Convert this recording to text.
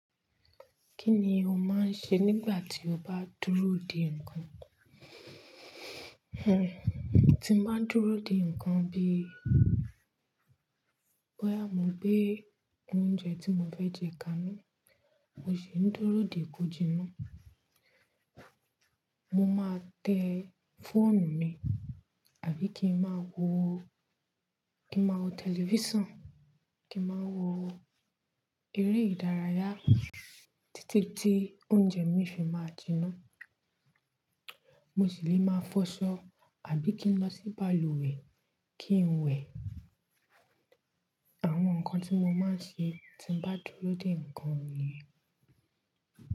Kí ni o máa ń ṣe nígbà tí o bá dúró dè nǹkan? Hhen, tí bá dúró dè nǹkan, bí bọ́yá mo gbé oúnjẹ tí mo fẹ́ jẹ kàánú, mo sì ń dúró dè kó jiná, mo máa tẹ fọ́ọ̀nù mi, àbí kí n máa wo, kí n máa wo tẹlifíṣàn, kí n máa wo eré ìdárayá títí tí oúnjẹ mi fi máa jiná. Mo sì lè máa fọṣọ àbí kí n lọ sí balùwẹ̀ kí n wẹ̀. Àwọn nǹkan tí mo máa ń ṣe tí bá dúró dè nǹkan niyi.